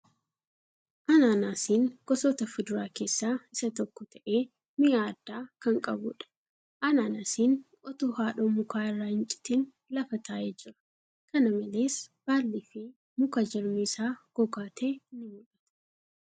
Anaanaasiin gosoota fuduraa keessa isa tokko ta'ee mi'aa addaa kan qabuudha. Anaanaasiin otoo haadhoo mukaa irraa hin citin lafa taa'ee jira. kana malees baalli fi muka jirmi isaa gogaa ta'e ni mul'ata.